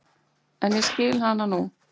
En ég skil hana nú.